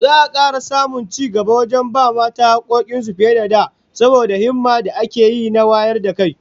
Za'a kara samun cigaba wajen ba mata hakkokin su fiye da da, saboda himmar da ake yi na wayar da kai